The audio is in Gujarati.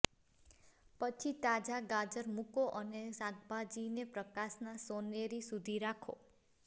પછી તાજા ગાજર મૂકો અને શાકભાજીને પ્રકાશના સોનેરી સુધી રાખો